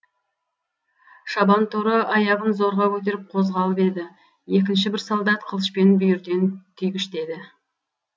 шабан торы аяғын зорға көтеріп қозғалып еді екінші бір солдат қылышпен бүйірден түйгіштеді